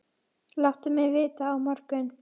Láttu mig vita á morgun.